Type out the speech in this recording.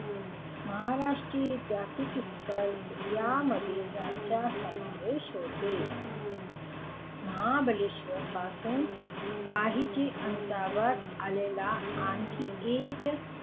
महाराष्ट्रातील ऐतिहासिक स्थळ यामध्ये याचा समावेश होतो . महाबळेश्वर पासून काहीच अंतरावर असलेले आणखी एक.